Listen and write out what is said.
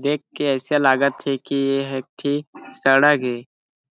देख के ऐसे लगत हे की ये ह एक ठी सड़क ए